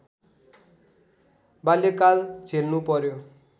बाल्यकाल झेल्नु पर्‍यो